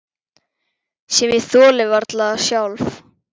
Sem ég þoli varla sjálf.